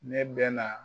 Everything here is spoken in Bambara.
Ne bɛ na